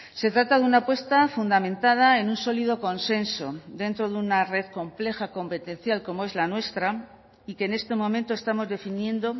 se trata de una apuesta fundamentada en un sólido consenso dentro de una red compleja competencial como es la nuestra y que en este momento estamos definiendo